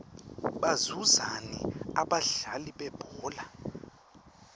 bazuzani abadlali bebhola